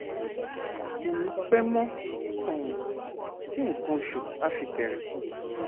kò ní pẹ mọ um tí nǹkan oṣù á fi bẹrẹ